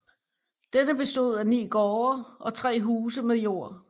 Denne bestod af 9 gårde og 3 huse med jord